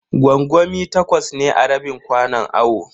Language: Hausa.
Gwangwami takwas ne a rabin kwanon awon.